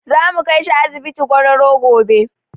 Zamu kaishi asibiti gwararro gobe